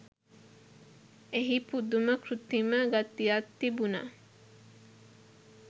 එහි පුදුම කෘතීම ගතියක් තිබුනා